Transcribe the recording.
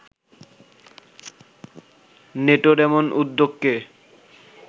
নেটোর এমন উদ্যোগকে